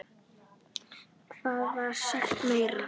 Hvað var sagt meira?